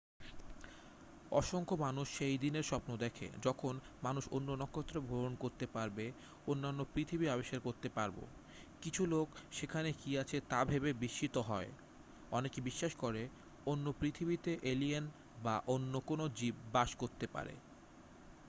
অসংখ্য মানুষ সেই দিনের স্বপ্ন দেখে যখন মানুষ অন্য নক্ষত্রে ভ্রমন করতে পারবে অন্যান্য পৃথিবী আবিষ্কার করতে পারব কিছু লোক সেখানে কি আছে তা ভেবে বিস্মিত হয় অনেকে বিশ্বাস করে অন্য পৃথিবীতে এলিয়েন বা অন্য কোন জীব বাস করতে পারে